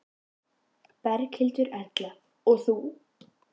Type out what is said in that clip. Berghildur Erla: Og þú?